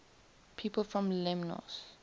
people from lemnos